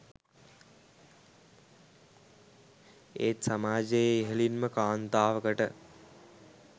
ඒත් සමාජයේ ඉහළින්ම කාන්තාවකට